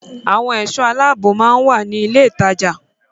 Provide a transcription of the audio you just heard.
Àwọn ẹ̀ṣọ́ aláàbò máa ń wà ní ilé ìtajà.